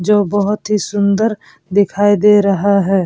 जो बहुत ही सुन्दर दिखाई दे रहा है ।